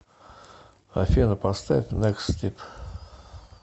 афина поставь некст стип